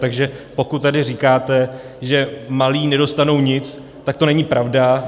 Takže pokud tady říkáte, že malí nedostanou nic, tak to není pravda.